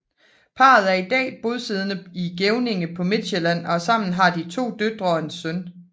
Parret er i dag bosiddende i Gevninge på Midtsjælland og sammen har de to døtre og en søn